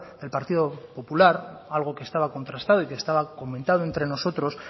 del partido popular algo que estaba contrastado y que estaba comentado entre nosotros